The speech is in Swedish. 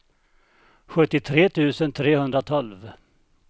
sjuttiotre tusen trehundratolv